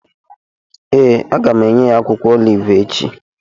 Ee, a ga m enye ya akwụkwọ olivu echi